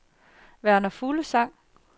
Verner Fuglsang